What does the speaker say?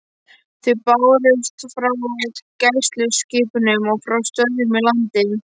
Þau bárust frá gæsluskipunum og frá stöðvum í landi.